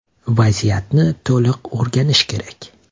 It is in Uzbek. Vaziyatni to‘liq o‘rganish kerak.